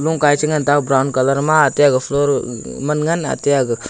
lungka ee che ngan tega brown colour ma atte aga floor ah gag man ngan atte aga--